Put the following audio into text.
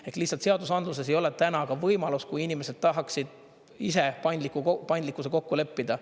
Ehk lihtsalt seadusandluses ei ole täna ka võimalus, kui inimesed tahaksid ise paindlikkuse kokku leppida.